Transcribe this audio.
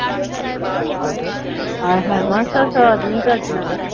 ਆਏ ਹਾਏ ਮਾਸਾ ਨਹੀਂ ਕਟਣਾ।